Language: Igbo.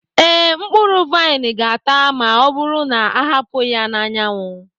ee, mkpụrụ vaịn ga-ata ma ọ bụrụ na a hapụ ya n'anyanwụ.